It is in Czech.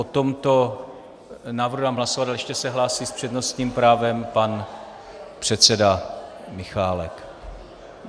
O tomto návrhu dám hlasovat, ale ještě se hlásí s přednostním právem pan předseda Michálek.